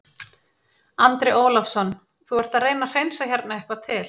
Andri Ólafsson: Þú ert að reyna að hreinsa hérna eitthvað til?